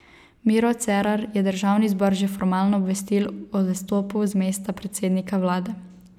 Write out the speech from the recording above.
Miro Cerar je državni zbor že formalno obvestil o odstopu z mesta predsednika vlade.